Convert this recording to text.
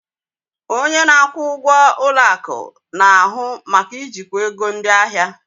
Onye na-akwụ ụgwọ ụlọ akụ na-ahụ maka ijikwa ego ndị ahịa.